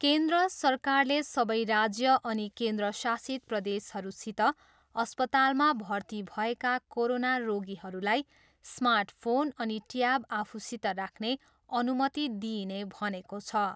केन्द्र सरकारले सबै राज्य अनि केन्द्रशासित प्रदेशहरूसित अस्पतालमा भर्ती भएका कोरोना रोगीहरूलाई स्मार्ट फोन अनि ट्याब आफूसित राख्ने अनुमति दिइने भनेको छ।